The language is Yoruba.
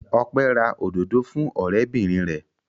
Ọpẹ́ ra òdòdó fún ọ̀rẹ́bìnrin rẹ̀.